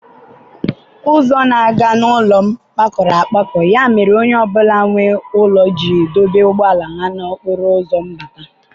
Ụzọ na-aga n'ụlọ m kpakọrọ akpakọ ya mere onye ọ bụla nwe ụlọ ji dọba ụgbọala ha n'okporo ụzọ mbata.